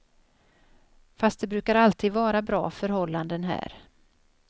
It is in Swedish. Fast det brukar alltid vara bra förhållanden här.